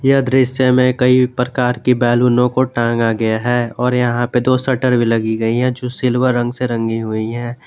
यह दृश्य में कई प्रकार की बैलूनों को टांगा गया है और यहां पे दो शटर भी लगी गई है जो सिल्वर रंग से रंगी हुई है।